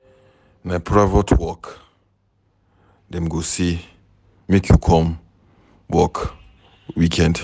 Na for private work dem go say make you come work weekend.